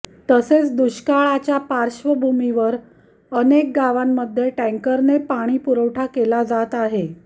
तसेच दुष्काळाच्या पार्श्वभूमीवर अनेक गावांमध्ये टँकरने पाणी पुरवठा केला जात आहे